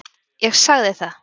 Ég sagði það.